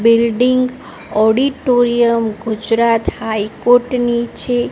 Building auditorium Gujarat high court ની છે.